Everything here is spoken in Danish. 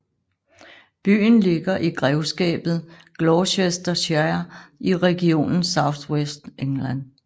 Byen ligger i grevskabet Gloucestershire i regionen South West England